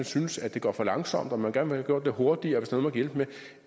synes det går for langsomt og man gerne vil gjort lidt hurtigere